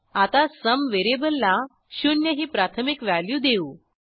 आता sumव्हेरिएबलला शून्य ही प्राथमिक व्हॅल्यू देऊ